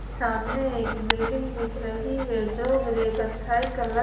सामने एक बिल्डिंग दिख रही है जो ग्रे कत्थई कल--